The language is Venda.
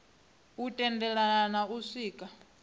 u tendelana na u swika